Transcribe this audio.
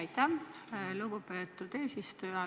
Aitäh, lugupeetud eesistuja!